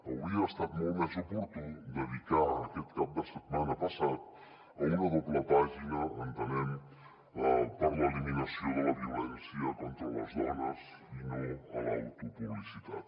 hauria estat molt més oportú dedicar ho aquest cap de setmana passat a una doble pàgina entenem per a l’eliminació de la violència contra les dones i no a l’autopublicitat